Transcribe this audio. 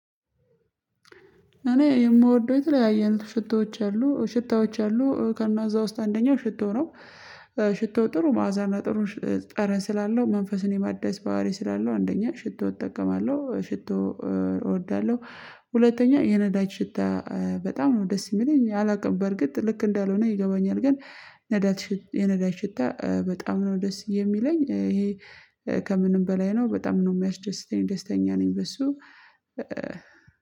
እኔ የምወደው የተለያየን ሽቶዎች አሉ ሽታዎች አሉ ከእዛ ውስጥ አንደኛው ሽቶ ነው። ሽቶ ጥሩ ማዕዛና ጥሩ ጠረን ስላለው መንፈስን የማዳስ ባህሪ ስላለው አንደኛ ሽቶ እጠቀማለሁ ሽቶ እወዳለሁ። ሁለተኛ የነዳጅ ሽታ በጣም ነው ደስ የሚለኝ አላውቅም በርግጥ ልክ እንዳልሆነ ይገባኛል ግን። ነዳት የነዳጅ ሽታ በጣም ነው ደስ የሚለኝ ይሄ። ከምንም በላይ ነው በጣም ነው የሚያስደስተኝ ደስተኛ ነኝ በሱ።